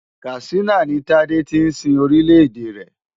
Katsina ni Tádé ti sin Orílẹ̀ èdè rẹ̀.